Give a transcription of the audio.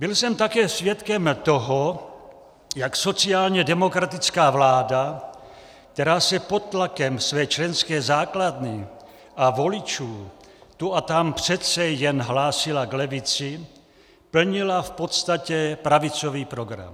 Byl jsem také svědkem toho, jak sociálně demokratická vláda, která se pod tlakem své členské základny a voličů tu a tam přece jen hlásila k levici, plnila v podstatě pravicový program.